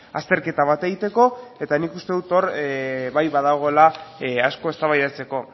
azterketa bat egiteko eta nik uste dut hor bai badagoela asko eztabaidatzeko